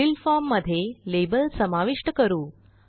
वरील formमध्ये लाबेल समाविष्ट करू